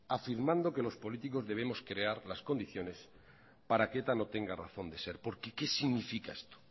afirmando que los políticos debemos crear las condiciones para que eta no tenga razón de ser porque qué significa esto